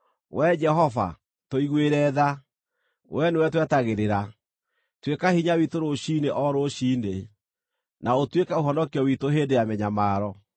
Wee Jehova, tũiguĩre tha; wee nĩwe twetagĩrĩra. Tuĩka hinya witũ rũciinĩ o rũciinĩ, na ũtuĩke ũhonokio witũ hĩndĩ ya mĩnyamaro.